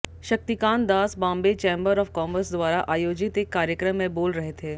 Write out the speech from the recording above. Shaktikanta Das Bombay chamber of commerce द्वारा आयोजित एक कार्यक्रम में बोल रहे थे